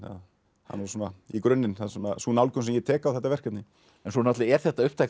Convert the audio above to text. það er í grunninn sú nálgun sem ég tek á þetta verkefni en svo er þetta upptakturinn